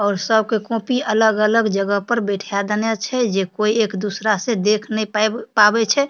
और सब के कॉपी अलग-अलग जगह पर बैठा देने छे जे कोई एक दूसरा से देख नहीं पाई पावे छे।